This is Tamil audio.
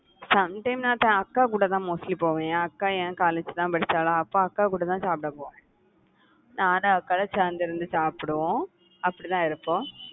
sometime நான் அக்கா கூடதான் mostly போவேன், அக்கா என் college தான் படிச்சாளா அப்ப அக்கா கூடதான் சாப்பிட போவேன் நானு அக்கா எல்லாம் சேர்ந்து இருந்து சாப்பிடுவோம் அப்படிதான் இருப்போம்